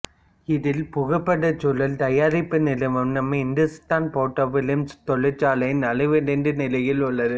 இதில் புகைப்படச் சுருள் தயாரிப்பு நிறுவனம் இந்துஸ்தான் போட்டோ பிலிம்ஸ் தொழிற்சாலை நலிவடைந்த நிலையில் உள்ளது